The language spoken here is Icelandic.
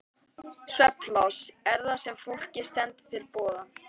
Svefnpláss er það sem fólki stendur til boða.